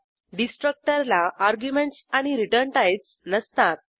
डिस्ट्रक्टरला arguments आणि return types नसतात